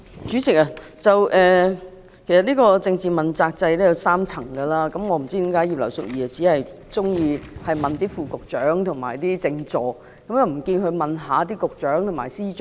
主席，政治問責制分為3層，我不知道葉劉淑儀議員為何只提及副局長及政治助理，沒有提及局長及司長？